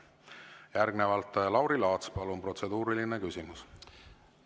Järgnevalt Lauri Laats, palun, protseduuriline küsimus!